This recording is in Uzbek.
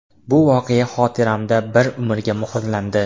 Bu voqea xotiramda bir umrga muhrlandi.